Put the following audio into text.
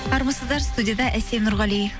армысыздар студияда әсем нұрғали